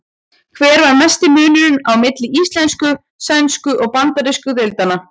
Hver er mesti munurinn á milli íslensku-, sænsku- og bandarísku deildanna?